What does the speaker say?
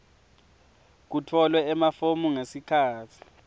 kutfolwe emafomu ngesikhatsi